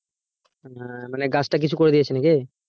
মানে গাছটা কিছু করে দিয়েছে নাকি?